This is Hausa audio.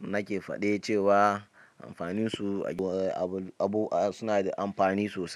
nake fade cewa amfani su suna da amfani sosai.